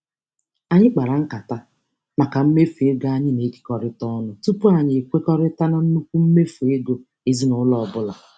Anyị kpara nkata maka mmefu ego anyị na-ekekọrịta ọnụ tụpụ anyị ekwekọrịta na nnukwu mmefu ego ezinaụlọ ọbụla.